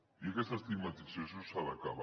i aquesta estigmatització s’ha d’acabar